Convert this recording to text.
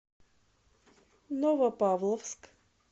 новопавловск